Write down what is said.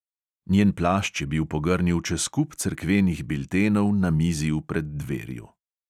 Njen plašč je bil pogrnil čez kup cerkvenih biltenov na mizi v preddverju.